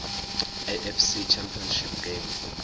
afc championship game